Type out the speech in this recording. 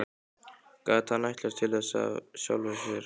Gat hann ætlast til þess af sjálfum sér?